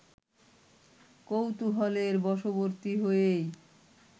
কৌতূহলের বশবর্তী হয়েই